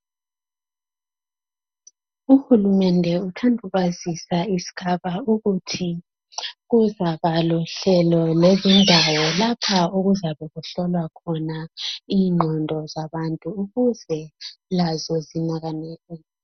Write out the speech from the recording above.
Uhulumende uthanda ukwazisa isigaba ukuthi kuzaba lohlelo lezindawo lapha okuzabe kuhlolwa khona ingqondo zabantu ukuze lazo zinakane.